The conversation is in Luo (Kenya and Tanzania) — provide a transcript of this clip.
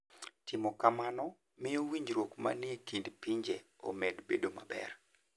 Timo kamano miyo winjruok manie kind pinje omed bedo maber.